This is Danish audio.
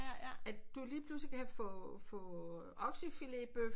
At du lige pludselig kan få få oksefiletbøf